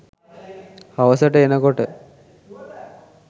හවසට එනකොට